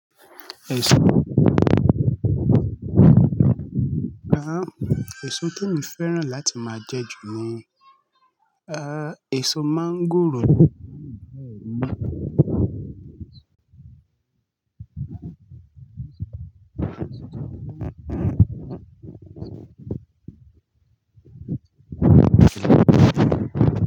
Èso Àh. Èso te mi fẹ́ràn láti máa jẹ jù ni, àh, èso máńgòrò.